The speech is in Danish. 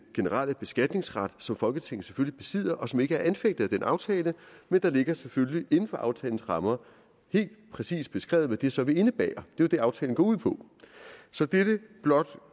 generelle beskatningsret som folketinget selvfølgelig besidder og som ikke er anfægtet af den aftale men der ligger selvfølgelig inden for aftalens rammer helt præcist beskrevet hvad det så vil indebære det er jo det aftalen går ud på så dette blot